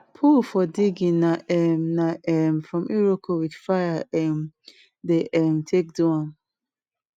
pull for digging na um na um from iroko with fire um dey um take do am